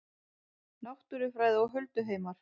Náttúrufræði og hulduheimar